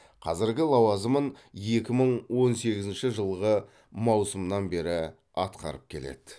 қазіргі лауазымын екі мың он сегізінші жылғы маусымнан бері атқарып келеді